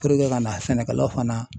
Puruke ka na sɛnɛkɛlaw fana